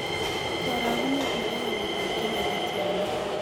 Karagunet ne po waletap kenya kotiana